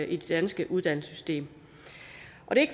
i det danske uddannelsessystem og